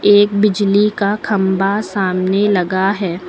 एक बिजली का खंभा सामने लगा है।